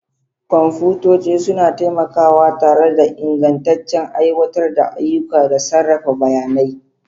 Kwamfutoci suna taimakawa tare da ingantaccen aiwatar da ayyuka da sarrafa bayanai.